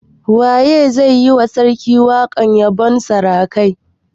Waye zai yi wa sarki waƙar yabon sarakai?